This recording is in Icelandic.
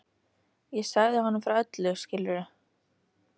Ég sagði honum frá öllu, skilurðu.